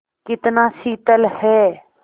कितना शीतल है